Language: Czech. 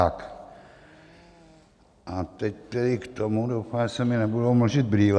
A teď tedy k tomu - doufám, že se mně nebudou mlžit brýle.